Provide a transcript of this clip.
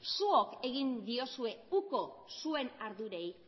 zuek egin diozue uko zuen ardurei